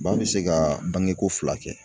Ba bi se ka bange ko fila kɛ.